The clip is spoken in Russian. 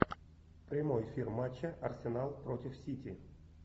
прямой эфир матча арсенал против сити